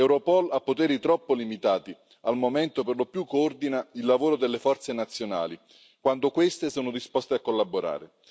Europol ha poteri troppo limitati al momento coordina, per lo più, il lavoro delle forze nazionali, quando queste sono disposte a collaborare.